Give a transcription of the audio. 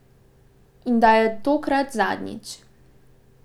In da je tokrat zadnjič.